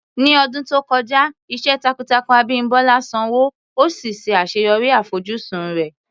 Ní ọdún tó kọjá, iṣẹ́ takuntakun Abimbola sanwó, ó sì ṣe àṣeyọrí àfojúsùn rẹ̀.